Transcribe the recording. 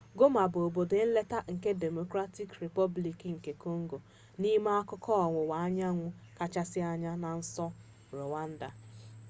goma bụ obodo nleta nke democratic replublic nke kongo n'ime akụkụ ọwụwa anyanwụ kachasị anya na nso rwanda